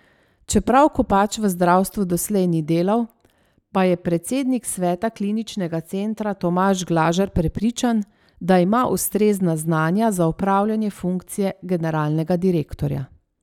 Čeprav Kopač v zdravstvu doslej ni delal, pa je predsednik sveta kliničnega centra Tomaž Glažar prepričan, da ima ustrezna znanja za opravljanje funkcije generalnega direktorja.